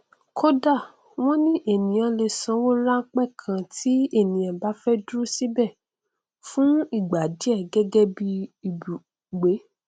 kódà wọn ní ènìyàn lè sanwó ránpẹ kan tí ènìyàn bá fẹ dúró síbẹ fún ìgbà díẹ gẹgẹ bí ibùgbé